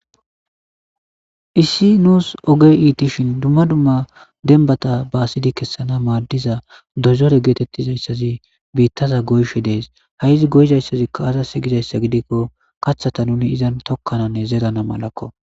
issi nuus oge iitishin dumma dumma denbata baasidi kessana maaddiza dozore geetettizayssazi biittaza goyshe dees ha7izi goyzayssazikka aza seygizayssa gidikko kathata nuni izan tokkananne zerana malakko